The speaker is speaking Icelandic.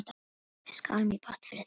Við skálum í botn fyrir því.